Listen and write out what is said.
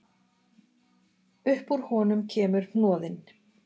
Upp úr honum kemur hnoðinn